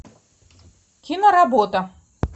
киноработа